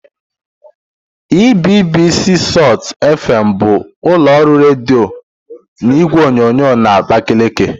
EBBC salt FM bụ ụlọ ọrụ redio na igwe onyonyo na Abakaliki..